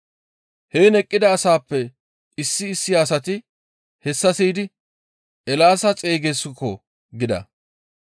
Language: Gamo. Heen eqqida asaappe issi issi asati hessa siyidi, «Eelaasa xeygeeskko!» gida.